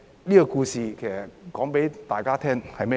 這個故事告訴大家甚麼呢？